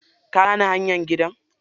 Ka gane hanyar gidan?